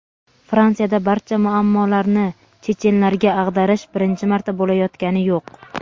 Fransiyada barcha muammolarni chechenlarga ag‘darish birinchi marta bo‘layotgani yo‘q.